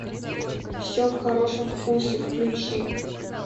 все в хорошем вкусе включи